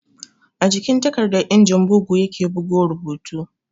A jikin takarda injin bugu ya ke bugo rubutu